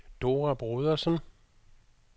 Dora Brodersen